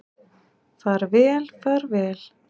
Far vel far vel.